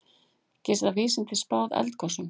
Geta vísindin spáð eldgosum?